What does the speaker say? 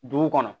Dugu kɔnɔ